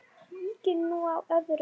Víkjum nú að öðru.